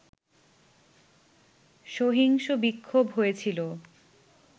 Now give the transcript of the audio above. সহিংস বিক্ষোভ হয়েছিল